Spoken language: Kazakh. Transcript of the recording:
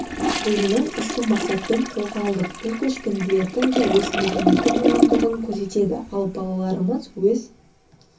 ойынын ізгі мақсатпен қолға алдық бұл көшпенділердің де өз мәдениеті болғандығын көрсетеді ал балаларымыз өз